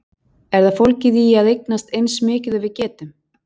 Er það fólgið í að eignast eins mikið og við getum?